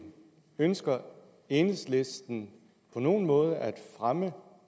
ønsker enhedslisten på nogen måde at fremme